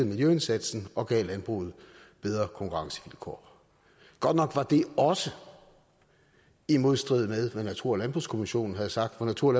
miljøindsatsen og gav landbruget bedre konkurrencevilkår godt nok var det også i modstrid med hvad natur og landbrugskommissionen havde sagt for natur